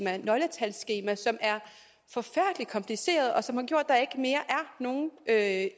her nøgletalsskema som er forfærdelig kompliceret og som har gjort at